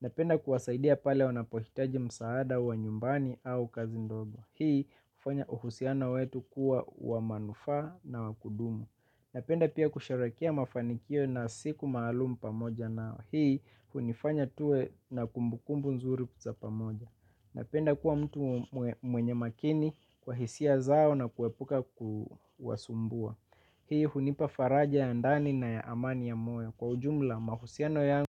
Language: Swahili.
Napenda kuwasaidia pale wanapohitaji msaada wa nyumbani au kazi ndogo. Hii hufanya uhusiano wetu kuwa wa manufaa na wakudumu. Napenda pia kusherehekea mafanikio na siku maalum pamoja nawe. Hii hunifanya tuwe na kumbukumbu nzuri za pamoja. Napenda kuwa mtu mwenye makini kwa hisia zao na kuepuka kuwasumbua. Hii hunipa faraja ya ndani na ya amani ya moyo kwa ujumla mahusiano yangu.